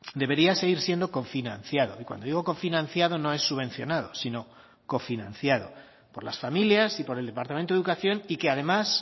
debería seguir siendo cofinanciado y cuando digo cofinanciado no es subvencionado sino cofinanciado por las familias y por el departamento de educación y que además